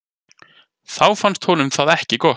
Þá fannst honum það ekki gott.